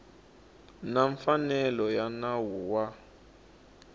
na mfanelo ya nawu wa